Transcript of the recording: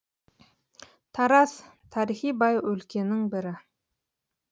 тараз тарихи бай өлкенің бірі